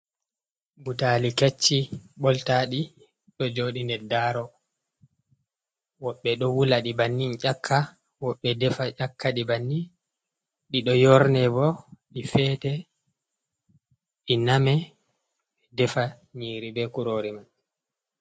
Butaali kecci ɓoltaɗi, ɗo jooɗi nder daaro ,woɓɓe ɗo wula ɗi bannin ƴakka, woɓbe defa ƴakka ɗi banni .Ɗi ɗo yorne bo ,ɗi feete ,ɗi name ɓe defa nyiiri be kurori man.